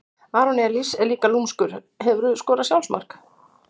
aron elís er líka lúmskur Hefurðu skorað sjálfsmark?